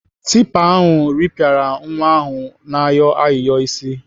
Tipa ahụ rịpịara nwa ahụ na-ayọ ayịyọ isi.